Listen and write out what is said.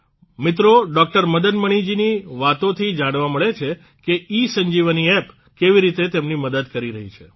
મિત્રો ડોકટર મદન મદન મણિજીની વાતોથી જાણવા મળે છે કે ઇસંજીવની એપ કેવી રીતે તેમની મદદ કરી રહી છે